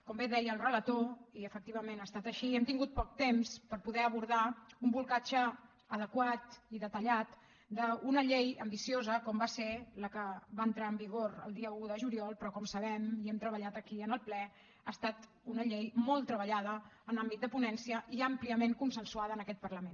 com bé deia el relator i efectivament ha estat així hem tingut poc temps per poder abordar un bolcatge adequat i detallat d’una llei ambiciosa com va ser la que va entrar en vigor el dia un de juliol però com sabem i hem treballat aquí en el ple ha estat una llei molt treballada en l’àmbit de ponència i àmpliament consensuada en aquest parlament